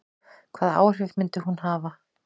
Hvaða áhrif myndi hún hafa?